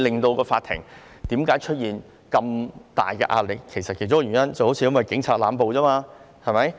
況且，法庭出現這麼大壓力的其中一個原因，是警察濫捕。